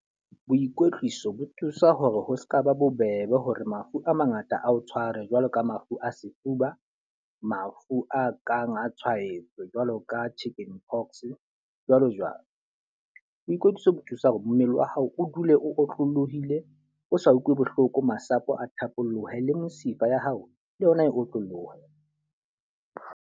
Boikwetliso bo thusa hore ho seka ba bobebe hore mafu a mangata a o tshware jwalo ka mafu a sefuba, mafu a kang a tshwaetso, jwalo ka chicken pox, jwalo jwalo. Boikwetliso bo thusa hore mmele wa hao o dule o otlolohile, o sa utlwe bohloko, masapo a thapolohe le mesifa ya hao, le yona e otlolohe.